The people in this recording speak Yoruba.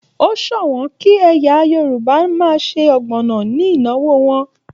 O ṣọwọ́n kí ẹ̀yà Yorùbá máa ṣe ọgbọnọ ní ìnáwó wọn.